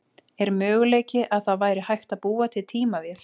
Er möguleiki að það væri hægt að búa til tímavél?